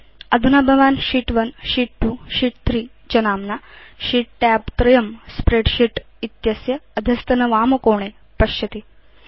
अधुना भवान् sheet sheet 2 Sheet 3 च नाम्ना शीत् tab त्रयम् स्प्रेडशीट् इत्यस्य अधस्तनवामकोणे पश्यति